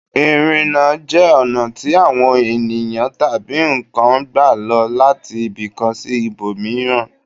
Ìrìnà jẹ́ ọ̀nà tí àwọn ènìyàn tabi nǹkan ń gbà lọ láti ibìkan sí ibòmíràn